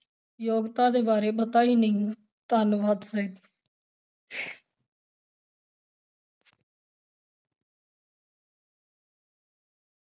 ਯੋਗਤਾ ਦੇ ਬਾਰੇ ਪਤਾ ਹੀ ਨਹੀਂ, ਧੰਨਵਾਦ